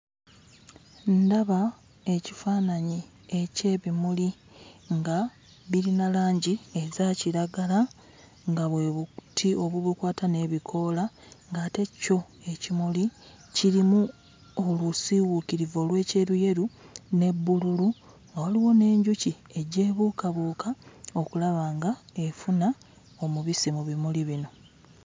Ndaba ekifaananyi eky'ebimuli nga birina langi eza kiragala nga bwe buti obubukwata n'ebikoola ng'ate kyo ekimuli kirimu olusiiwuukirivu olw'ekyeruyeru ne bbululu, nga waliwo n'enjuki ejja ebuukabuuka okulaba nga efuna omubisi mu bimuli bino.